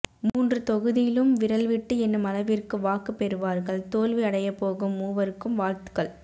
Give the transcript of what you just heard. மூன்று தொகுதி லும் விரல் விட்டு என்னும் அளவிற்க்கு வாக்கு பெருவார்கள் தோல்வி அடையபோகும் மூவர் க்கும் வாழ்த்க்கள்